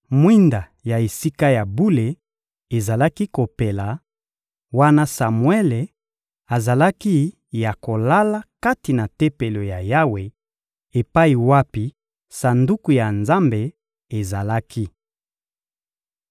Mwinda ya Esika ya bule ezalaki kopela, wana Samuele azalaki ya kolala kati na Tempelo ya Yawe, epai wapi Sanduku ya Nzambe ezalaki.